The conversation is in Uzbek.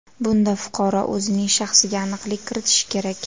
Bunda fuqaro o‘zining shaxsiga aniqlik kiritishi kerak.